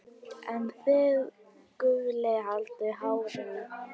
en þið Gulli haldið hárinu.